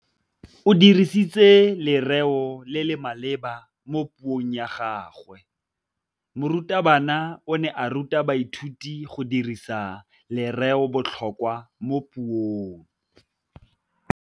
O dirisitse lerêo le le maleba mo puông ya gagwe. Morutabana o ne a ruta baithuti go dirisa lêrêôbotlhôkwa mo puong.